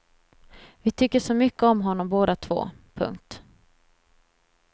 Vi tycker så mycket om honom båda två. punkt